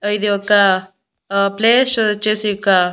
ఇది ఒక uh place వచ్చేసి ఇక--